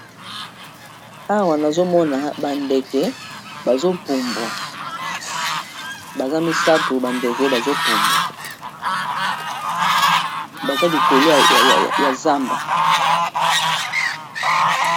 awa nazomona bandeke bazopumbwa baza misato bandeke bazopumbwa baza likolo ya zamba